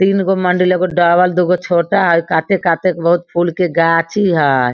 तीन गो मंदिर एगो डबल दुगो छोटा हेय काते-काते बहुत फुल के गाछी हेय।